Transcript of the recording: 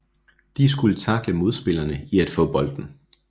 De skulle tackle modspillerne i at få bolden